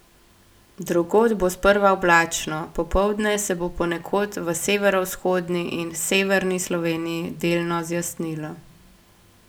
Drugod bo sprva oblačno, popoldne se bo ponekod v severovzhodni in severni Sloveniji delno zjasnilo.